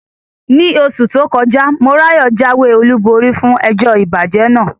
Ní oṣù tó kọjá, Morayo jáwé olúborí fún ẹjọ́ ìbàjẹ́ náà.